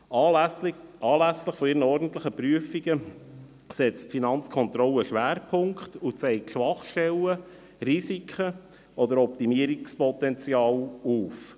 Anlässlich ihrer ordentlichen Prüfungen setzt die Finanzkontrolle Schwerpunkte und zeigt Schwachpunkte, Risiken oder Optimierungspotenzial auf.